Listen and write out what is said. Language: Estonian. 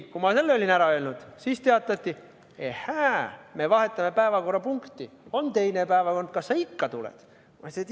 Kui olin selle ära öelnud, siis teatati, et me vahetame päevakorrapunkti, on teine päevakord, kas sa ikka tuled?